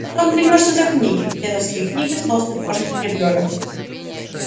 потом примёшься за книги дедовские книги в толстых кожаных переплётах